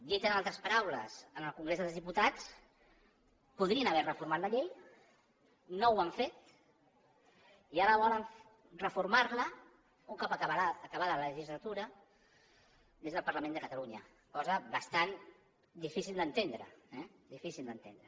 dit en altres paraules en el congrés dels diputats podrien haver reformat la llei no ho han fet i ara volen reformar la un cop acabada la legislatura des del parlament de catalunya cosa bastant difícil d’entendre eh difícil d’entendre